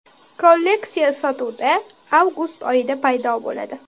Kolleksiya sotuvda avgust oyida paydo bo‘ladi.